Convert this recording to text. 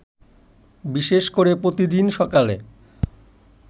বিশেষ করে প্রতিদিন সকালে